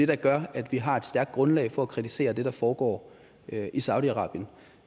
der gør at vi har et stærkt grundlag for at kritisere det der foregår i saudi arabien